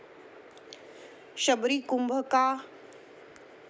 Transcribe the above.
शबरी कुंभ का?